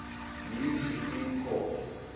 new supreme court